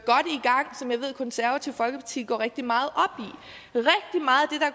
konservative folkeparti går rigtig meget